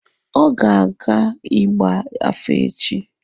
Ọ ga-aga ịgba afa echi.